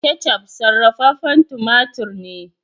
" ketchup " sarrafafen tumatur ne.